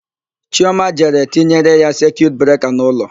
Chioma jere tinyere ya sekiut breka n'ụlọ.